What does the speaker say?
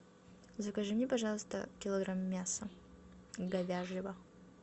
закажи мне пожалуйста килограмм мяса говяжьего